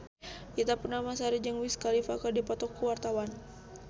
Ita Purnamasari jeung Wiz Khalifa keur dipoto ku wartawan